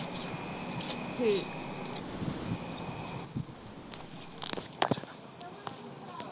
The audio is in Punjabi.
ਠੀਕ ਆ